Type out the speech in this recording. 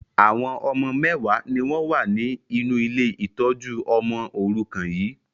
Àwọn ọmọ mẹwa ni wọn wá ní inú ilé ìtọ́jú ọmọ òrùkan yii